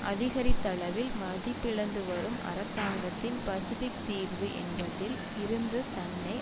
அதிகரித்தளவில் மதிப்பிழந்துவரும் அரசாங்கத்தின் பசிபிக் தீர்வு என்பதில் இருந்து தன்னை